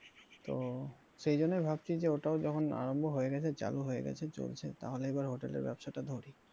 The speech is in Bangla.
তো সেজন্যই ভাবছি যে ওটাও যখন আরম্ভ হয়ে গেছে চালু হয়ে গেছে চলছে তাহলে এবার hotel এর ব্যবসাটা ধরি।